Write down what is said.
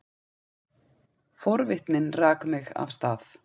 Forvitnin rak mig af stað.